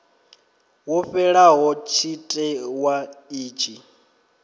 wo fhelaho tshite wa itshi